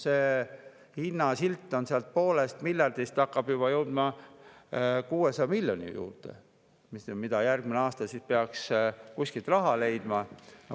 Selle hinnasilt on alates poolest miljardist, hakkab jõudma juba 600 miljoni juurde, ja selle raha peaks järgmisel aastal kuskilt leidma.